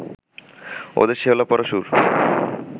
ওদের শ্যাওলা-পড়া সুর